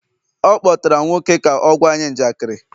ọ kpọtara nwoke ka ọ gwa anyị njakịrị